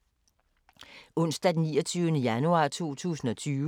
Onsdag d. 29. januar 2020